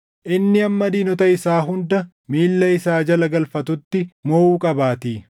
Inni hamma diinota isaa hunda miilla isaa jala galfatutti moʼuu qabaatii.